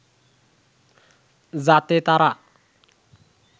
যাতে তারা